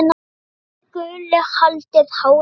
en þið Gulli haldið hárinu.